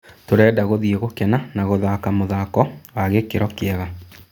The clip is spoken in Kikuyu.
Tũrenda gũthiĩ gũkena na gũthake mũthako wa gĩkĩro kĩega."